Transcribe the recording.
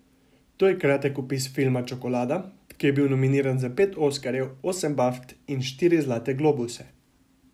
To je kratek opis filma Čokolada, ki je bil nominiran za pet oskarjev, osem baft in štiri zlate globuse.